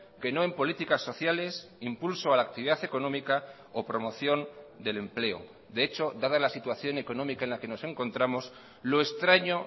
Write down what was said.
que no en políticas sociales impulso a la actividad económica o promoción del empleo de hecho dada la situación económica en la que nos encontramos lo extraño